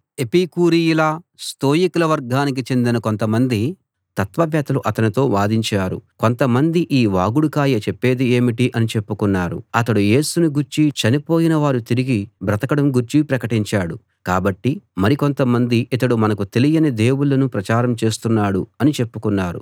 ఎపికూరీయుల స్తోయికుల వర్గానికి చెందిన కొంతమంది తత్వవేత్తలు అతనితో వాదించారు కొంతమంది ఈ వాగుడుకాయ చెప్పేది ఏమిటి అని చెప్పుకున్నారు అతడు యేసుని గూర్చీ చనిపోయిన వారు తిరిగి బ్రతకడం గూర్చీ ప్రకటించాడు కాబట్టి మరి కొంత మంది ఇతడు మనకు తెలియని దేవుళ్ళను ప్రచారం చేస్తున్నాడు అని చెప్పుకున్నారు